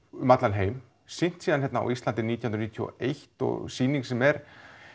um allan heim sýnt hérna á Íslandi nítján hundruð níutíu og eitt sýning sem er